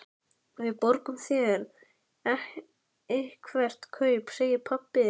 Við borgum þér eitthvert kaup, segir pabbi.